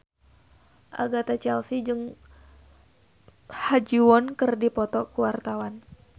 Agatha Chelsea jeung Ha Ji Won keur dipoto ku wartawan